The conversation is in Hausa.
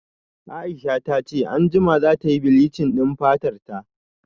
Aisha tace anjima zatayi bleach din fatarta